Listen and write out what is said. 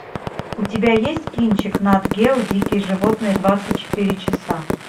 у тебя есть кинчик нат гео дикие животные двадцать четыре часа